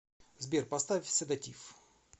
сбер поставь седатив